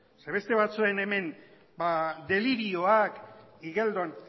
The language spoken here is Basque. ze beste batzuen hemen delirioak igeldon